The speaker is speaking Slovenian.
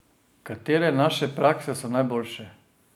Katere naše prakse so najboljše?